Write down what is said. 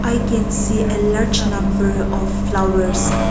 i can see a large number of flowers.